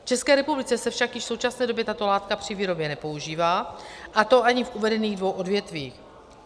V České republice se však již v současné době tato látka při výrobě nepoužívá, a to ani v uvedených dvou odvětvích.